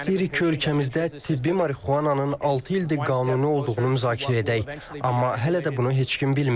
Biz istəyirik ki, ölkəmizdə tibbi marixuananın altı ildir qanuni olduğu müzakirə edək, amma hələ də bunu heç kim bilmir.